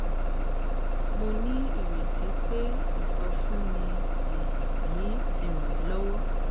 mo ní ìrètí pé ìsọfúnni um yìí ti ràn ẹ lówó